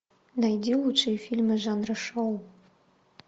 найди лучшие фильмы жанра шоу